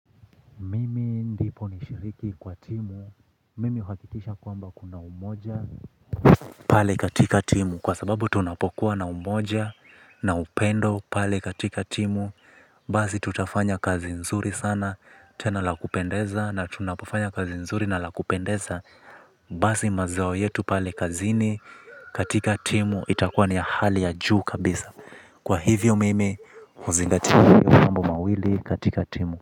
Ndipo nishiriki kwa timu, mimi huhakikisha kwamba kuna umoja, pale katika timu, kwa sababu tunapokuwa na umoja, na upendo, pale katika timu, basi tutafanya kazi nzuri sana, tena la kupendeza, na tunapofanya kazi nzuri na la kupendeza, basi mazao yetu pale kazini, katika timu, itakuwa ni ya hali ya juu kabisa. Kwa hivyo mimi, huzingatia hayo mambo mawili katika timu.